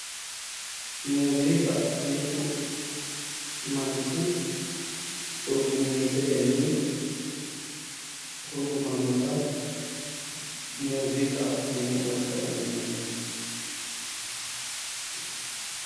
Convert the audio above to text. Muziiqa mittu manchi hurgumiitetenni hurgumannota muuziiqa yine woshsha dandiineemmo.